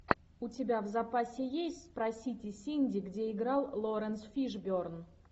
у тебя в запасе есть спросите синди где играл лоуренс фишберн